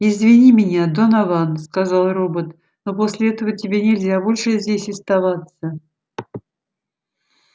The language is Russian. извини меня донован сказал робот но после этого тебе нельзя больше здесь оставаться